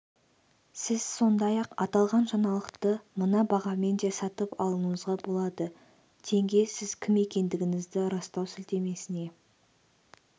сіз сондай-ақ аталған жаңалықты мына бағамен де сатып алуыңызға болады тенге сіз кім екендігіңізді растау сілтемесіне